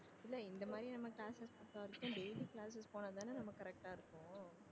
இல்லை இந்த மாதிரி நம்ம classes daily classes போனா தானே நம்ம correct ஆ இருக்கும்